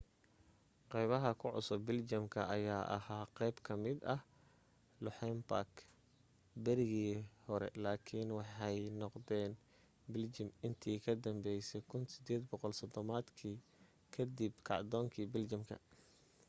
qaybaha ku cusub biljamka ayaa ahaa qayb kamida luxembourg berigii hore lakiin waxay noqdeen biljam intii ka danbaysay 1830 maadkii kadib kacdoonkii biljamka